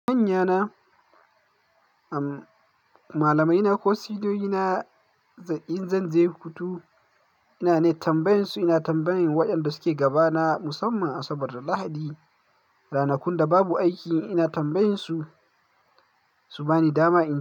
Manya na, umm, malamaina ko suniyoyina in zan je hutu ina ne tambaye su ina tambaye waɗanda suke gaba na musamman Asabar da Lahadi, ranakun da babu aiki ina tambaye su, su bani dama ina.